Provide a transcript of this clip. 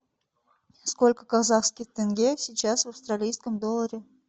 сколько казахских тенге сейчас в австралийском долларе